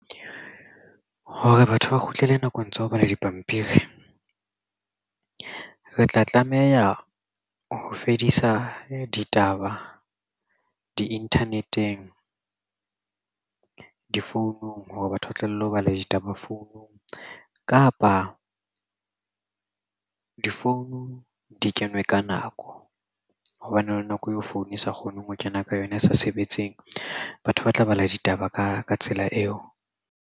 Hore batho ba kgutlele nakong tsa ho bala dipampiri, re tla tlameha ho fedisa ditaba di-internet-eng difounung hore batho ba tlohele ho bala ditabadi founung. Kapa difounu di kenwe ka nako hobane nako eo phone e sa kgoneng ho kena ka yona e sa sebetseng. Batho ba tla bala ditaba ka tsela eo.